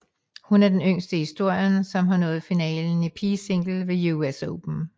Hun er den yngste i historien som har nået finalen i pigesingle ved US Open